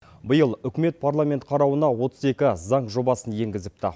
биыл үкімет парламент қарауына отыз екі заң жобасын енгізіпті